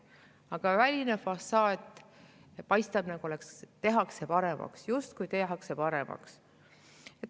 Aga väline fassaad paistab välja nii, nagu oleks tehtud paremaks, justkui tehakse paremaks.